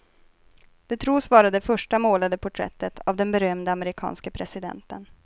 Det tros vara det första målade porträttet av den berömde amerikanske presidenten.